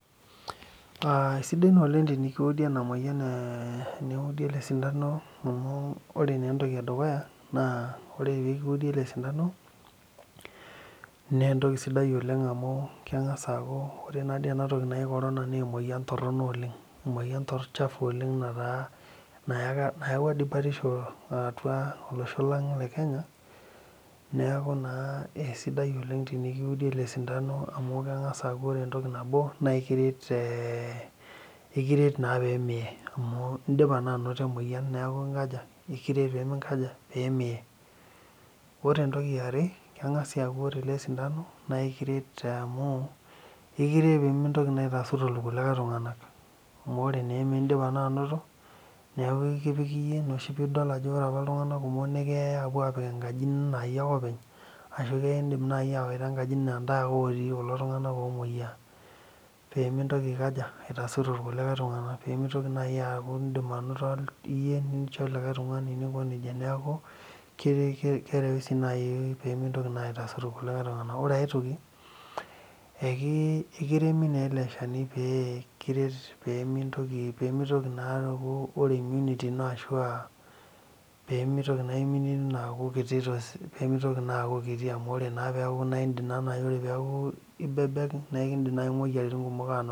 Aa sidai oleng tenikiudi elesintano amu ore entoki edukuya tenikiudi elesintano na entoki sidai oleng amu kengasa aaku ore enamoyian naji korona na emoyian toronok oleng nayawua batisho atua olosho le kenya na kesidai oleng enikiudi elesintano amu ore entoki edukuya na ekiret pemiye indipa naa ainoto emoyian neaku ekiret pemiye ore entoki eare kengasa aaku orw elesintano na ekkret pemintoki aitaasur irkulie tunganak amu indipa naa ainoto pa ina pidol ajo ore apa ltunganak na keyau apik enkaji na iyie akw openyashu kidim awaita enkaji na ntae ake otii kulo tunganak omoyia pemintoki aitaasur irkulie tunganak neaku keret nai pemintoki aitaasur irkulie tunganak ekiremi na eleshani pemintoki aaku ore immunity ino nakiti tosesen amu indm nai ore pibebek na ekindim moyiaritin ai